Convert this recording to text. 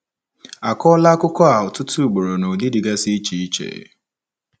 A kọọla akụkọ a ọtụtụ ugboro n’ụdị dịgasị iche iche.